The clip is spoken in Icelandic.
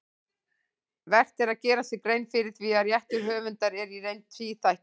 Vert er að gera sér grein fyrir því að réttur höfundar er í reynd tvíþættur.